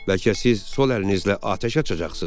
Bəlkə siz sol əlinizlə atəş açacaqsınız?